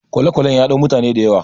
kwale-kwalen ya dau mutane da yawa